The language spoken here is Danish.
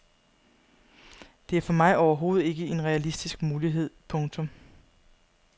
Det er for mig overhovedet ikke en realistisk mulighed. punktum